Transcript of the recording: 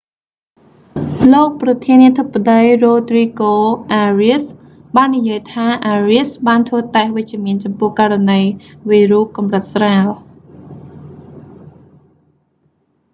លោកប្រធានាធិបតី រ៉ូទ្រីហ្គោ អារៀស rodrigo arias បាននិយាយថា អារៀស arias បានធ្វើតេស្តវិជ្ជមានចំពោះករណីវីរុសកម្រិតស្រាល